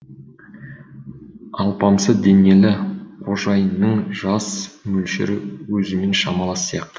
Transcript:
алпамса денелі қожайынның жас мөлшері өзімен шамалас сияқты